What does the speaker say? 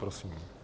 Prosím.